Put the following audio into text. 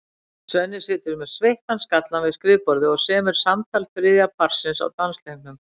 Svenni situr með sveittan skallann við skrifborðið og semur samtal þriðja parsins á dansleiknum.